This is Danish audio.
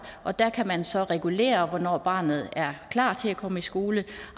og der kan man så regulere hvornår barnet er klar til at komme i skole